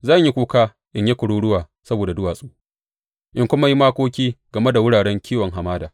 Zan yi kuka in yi kururuwa saboda duwatsu in kuma yi makoki game da wuraren kiwon hamada.